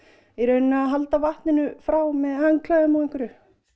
í rauninni að halda vatninu frá með handklæðum og einhverju